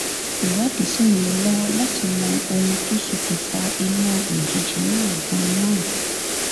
ìwádìí sì ń lọ lọwọ láti mọ ohun tó ṣokùnfà iná òjijì náà ganan